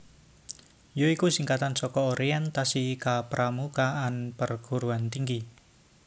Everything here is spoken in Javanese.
ya iku singkatan saka Orientasi Kepramukaan Perguruan Tinggi